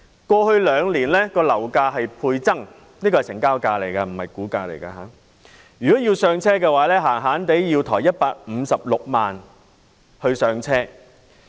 過去兩年，樓價倍增——這是成交價而不是估價——如果要上車的話，最少要支付156萬元首期。